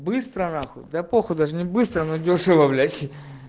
быстро на х да п даже не быстро найдёшь его блять